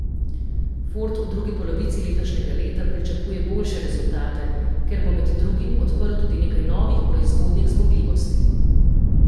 Ford v drugi polovici letošnjega leta pričakuje boljše rezultate, ker bo med drugim odprl tudi nekaj novih proizvodnih zmogljivosti.